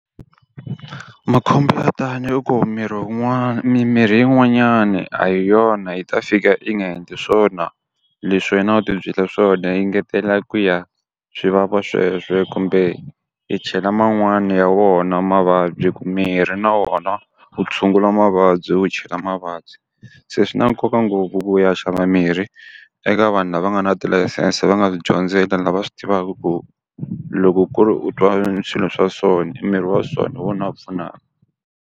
Makhombo yo tani i ku miri wun'wana mimirhi yin'wanyani a hi yona yi ta fika yi nga endli swona leswi wena u ti byele swona yi ngetela ku ya swi vava kumbe i chela man'wani ya wona mavabyi hikuva mirhi na wona u tshungula mavabyi wu chela mavabyi. Se swi na nkoka ngopfu ku u ya xava mirhi eka vanhu lava nga na tilayisense va nga swi dyondzela lava swi tivaka ku loko ku ri u twa swilo swa so i mirhi wa so hi wona u pfunaka.